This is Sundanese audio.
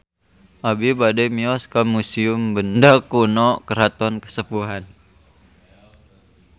Abi bade mios ka Museum Benda Kuno Keraton Kasepuhan